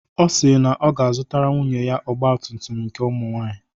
Ọ si na ọ ga-azụtara nwunye ya ọgba tum tum nke ụmụ nwaanyị.